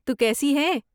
تو کیسی ہے؟